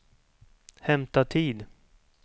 hämta tid